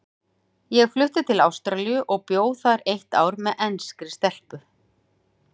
Ég flutti til Ástralíu og bjó þar eitt ár með enskri stelpu.